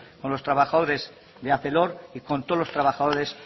con los trabajadores de arcelor y con todos los trabajadores